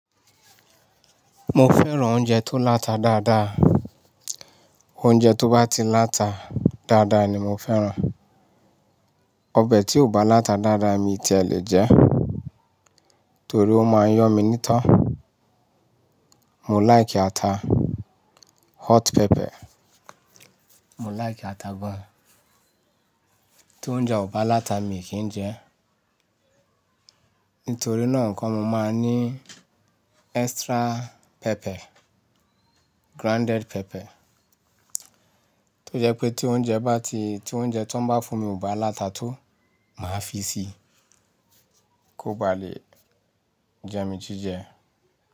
Mo fẹ́ràn oúnjẹ tó láta dáadáa. Oúnjẹ tó bá ti láta dáadáa ni mo fẹ́ràn. Ọbẹ̀ tí ò bá láta dáadáa mi ti ẹ lè jẹ ẹ́, torí ó máa ń yọ́ mi n'ítọ. Mo like ata, hot pepper, mo like ata gan. Tí oúnjẹ ò bá láta, mìí kìn jẹ. Nítorí náà nǹkan mo máa ń ní extra pepper, grounded pepper. Tó jẹ́ pé tí oúnjẹ bá ti, tí oúnjẹ ti wóń bá fún mi ò bá láta tó, màá fi síi kó bá lè jẹ mí jíjẹ.